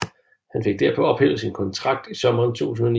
Han fik derpå ophævet sin kontrakt i sommeren 2009